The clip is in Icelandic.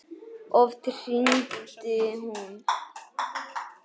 Oft hringdi hún.